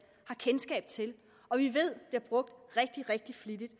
har kendskab til og vi ved at brugt rigtig rigtig flittigt